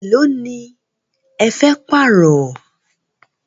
Élo ní ẹ fẹ́ pààrọ̀?